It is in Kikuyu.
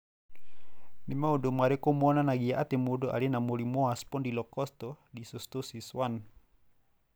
Nĩ maũndũ marĩkũ monanagia atĩ mũndũ arĩ na mũrimũ wa Spondylocostal dysostosis 1?